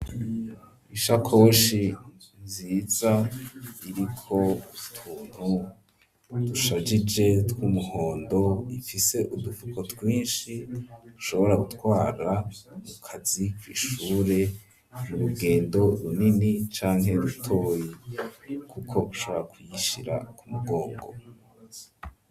Ishakoshi nziza iriko utuntu dusharije tw'umuhondo ifise udufuko twishi ushobora gutwara mukazi kw'ishure mu rugendo runini canke rutoye kuko ushobora ku yishyira ku mugongo.